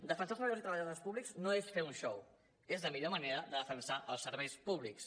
defensar els treballadors i treballadores públics no és fer un xou és la millor manera de defensar els serveis públics